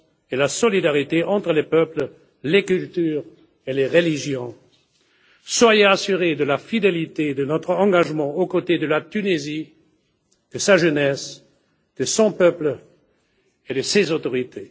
et la solidarité entre les peuples, les cultures et les religions. Soyez assuré de la fidélité de notre engagement aux côtés de la Tunisie, de sa jeunesse, de son peuple et de ses autorités.